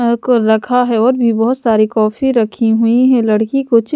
को रखा है और भी बहुत सारी कॉफी रखी हुई है लड़की कुछ--